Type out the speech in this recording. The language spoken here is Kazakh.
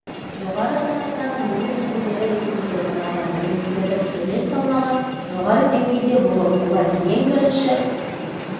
жоғары санаттағы неміс өкілдері ретінде саналған немістердің үлес салмағы жоғары деңгейде болып олар ең бірінші